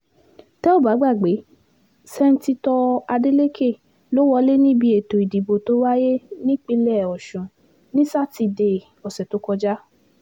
tẹ́ ò bá gbàgbé sẹ́ńtítọ́ adeleke ló wọlé níbi ètò ìdìbò tó wáyé nípìnlẹ̀ ọ̀sùn ní sátidé ọ̀sẹ̀ tó kọjá